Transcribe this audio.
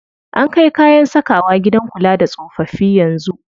An kai kayan sakawa gidan kula da tsofaffi yanzu.